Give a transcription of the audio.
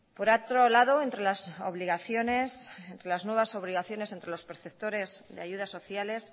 por otro lado entre las obligaciones entre las nuevas obligaciones entre los preceptores de ayudas sociales